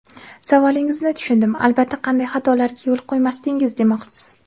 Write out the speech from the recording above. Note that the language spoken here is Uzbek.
Savolingizni tushundim, albatta, qanday xatolarga yo‘l qo‘ymasdingiz, demoqchisiz.